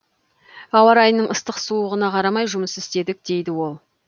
ауа райының ыстық суығына қарамай жұмыс істедік дейді ол